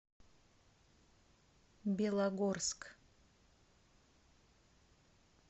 белогорск